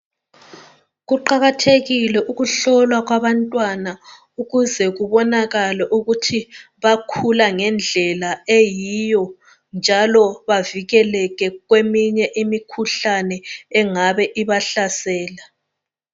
Kuqakathekile ukuhlolwa kwabantwana ukuze kubonakale ukuthi bakhula ngendlela eyiyo njalo bavikeleke kweminye imikhuhlane engabe ibahlasela.